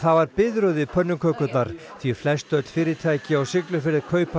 var biðröð í pönnukökurnar því flestöll fyrirtæki á Siglufirði kaupa